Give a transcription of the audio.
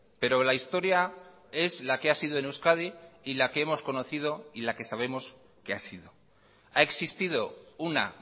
pero la historia es la que ha sido en euskadi y la que hemos conocido y la que sabemos que ha sido ha existido una